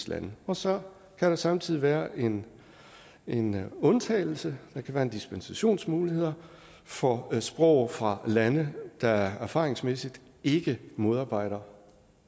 lande og så kan der samtidig være en en undtagelse der kan være en dispensationsmulighed for sprog fra lande der erfaringsmæssigt ikke modarbejder